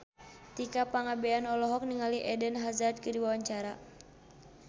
Tika Pangabean olohok ningali Eden Hazard keur diwawancara